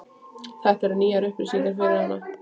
Þetta eru nýjar upplýsingar fyrir hana.